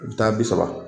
U bɛ taa bi saba